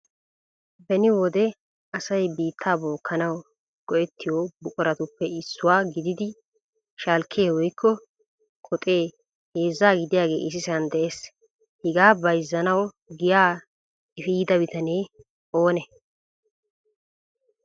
Beni wode asay biitta bookanawu go''ettiyo buqurappe issuwa gidida shalkke woykko knotte heezza gidiyaage issisan de'ees. hega bayzzanaw giya effida bitanee oonee?